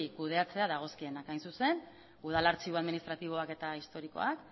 kudeatzea dagozkienak hain zuzen udal artxibo administratiboak eta historikoak